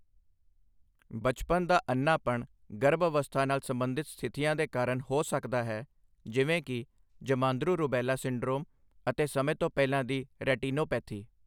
ਬਚਪਨ ਦਾ ਅੰਨ੍ਹਾਪਣ ਗਰਭ ਅਵਸਥਾ ਨਾਲ ਸੰਬੰਧਿਤ ਸਥਿਤੀਆਂ ਦੇ ਕਾਰਨ ਹੋ ਸਕਦਾ ਹੈ, ਜਿਵੇਂ ਕਿ ਜਮਾਂਦਰੂ ਰੁਬੈਲਾ ਸਿੰਡਰੋਮ ਅਤੇ ਸਮੇਂ ਤੋਂ ਪਹਿਲਾਂ ਦੀ ਰੈਟੀਨੋਪੈਥੀ।